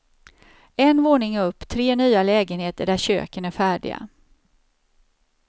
En våning upp, tre nya lägenheter där köken är färdiga.